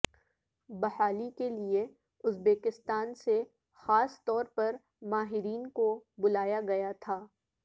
بحالی کے لیے ازبکستان سے خاص طور پر ماہرین کو بلایا گیا تھا